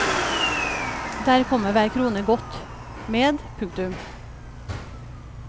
Der kommer hver krone godt med. punktum